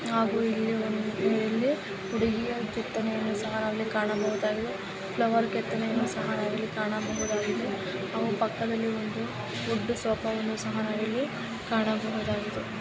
ಹಾಗೂ ಇಲ್ಲಿ ಹುಡುಗಿಯ ಕೆತ್ತನೆ ಅನ್ನೂ ಸಹ ಇಲ್ಲಿ ಕಾಣಬಹುದಾಗಿದೆ ಫ್ಲವರ್ ಕೆತ್ತನೆ ಅನ್ನೂ ಸಹ ನಾವ ಇಲ್ಲಿ ಕಾಣಬಹುದಾಗಿದೆ ಅಲ್ಲಿ ಪಕ್ಕದಲ್ಲಿ ಒಂದು ವುಡ್ ಸೋಫ ವನ್ನು ಸಹ ನಾವು ಇಲ್ಲಿ ಕಾಣಬಹುದಾಗಿದೆ.